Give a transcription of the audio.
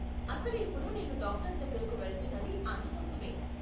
అసలు ఇప్పుడు నేను డాక్టర్ దగ్గరకు వెళ్తున్నది అందుకోసమే.